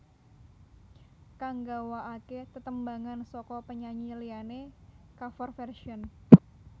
Kang nggawakaké tetembangan saka penyanyi liyané cover version